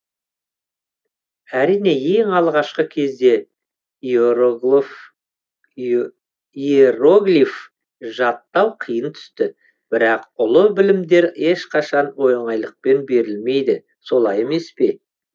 әрине ең алғашқы кезде иероглиф жаттау қиынға түсті бірақ ұлы білімдер ешқашан оңайлықпен берілмейді солай емес па